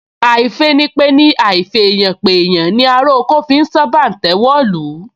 Àìfìpeni àìfèèyànpèèyàn ni ará oko fi sán bàǹtẹ́ wọ̀lú